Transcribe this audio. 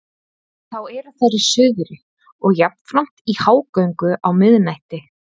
Þá eru þær í suðri og jafnframt í hágöngu á miðnætti.